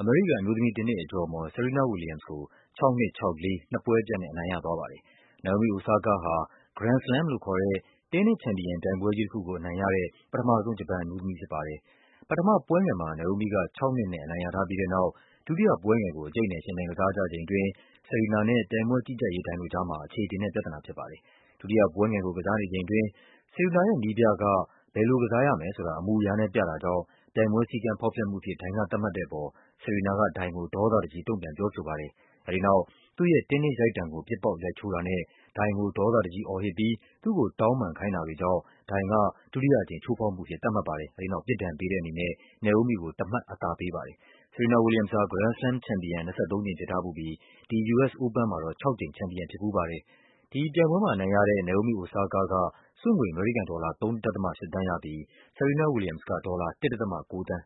အမေရိကန် အမျိုးသမီး တင်းနစ်အကျော်အမော် Serena Williams ကို ၆-၂ ၊ ၆-၄ နှစ်ပွဲပြတ်နဲ့ အနိုင်ရသွားပါတယ်။ Naomi Osaka ဟာ Grand Slam လို့ခေါ်တဲ့ တင်းနစ်ချန်ပီယံပြိုင်ပွဲကြီးတခုကို အနိုင်ရတဲ့ ပထမဆုံး ဂျပန်အမျိုးသမီးဖြစ်ပါ တယ်။ ပထမပွဲငယ်မှာ Naomi က ၆-၂ နဲ့ အနိုင်ရထားပြီးတဲ့နောက် ဒုတိယပွဲငယ်ကို အကျိတ်အနယ် ယှဉ်ပြိုင်ကစားကြချိန်အတွင်း Serena နဲ့ ပြိုင်ပွဲကြီးကြပ်ရေးဒိုင်တို့ကြားမှာ အခြေအတင်နဲ့ ပြဿနာဖြစ်ပါတယ်။ ဒုတိယပွဲငယ်ကို ကစားနေချိန်အတွင်း Serena ရဲ့ နည်းပြက ဘယ်လိုကစားရမယ်ဆိုတာ အမူအရာနဲ့ပြတာကြောင့် ပြိုင်ပွဲစည်းကမ်း ဖောက်ဖျက်မှုအဖြစ် ဒိုင်ကသတ်မှတ်တဲ့အပေါ် Serena က ဒိုင်ကို ဒေါသတကြီး တုန့်ပြန်ပြောဆိုပါတယ်။ အဲဒီနောက် သူ့ရဲ့ တင်းနစ်ရိုက်တံကို ပစ်ပေါက်ရိုက်ချိုးတာနဲ့ ဒိုင်ကို ဒေါသတကြီး အော်ဟစ်ပြီး သူ့ကိုတောင်းပန်ခိုင်းတာတွေကြောင့် ဒိုင်က ဒုတိယအကြိမ် ချိုးဖောက်မှုအဖြစ် သတ်မှတ်ပါတယ်။ အဲဒီနောက် ပြစ်ဒဏ်ပေးတဲ့အနေနဲ့ Naomi ကို တမှတ်အသာပေး ပါတယ်။ Serena Williams ဟာ Grand Slam ချန်ပီယံ ၂၃ ကြိမ်ဖြစ်ထားဖူးပြီး ဒီ US Open မှာ ၆ ကြိမ် ချန်ပီယံဖြစ်ဖူးပါတယ်။ ဒီပြိုင်ပွဲမှာ အနိုင်ရတဲ့ Naomi Osaka က ဆုငွေ အမေရိကန်ဒေါ်လာ ၃.၈ သန်းရပြီး Serena Williams က ဒေါ်လာ ၁.၉ သန်း